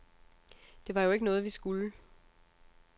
Det var jo ikke noget, vi skulle.